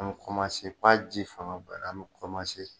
An mi fɔ a ji fanga boyanra an mi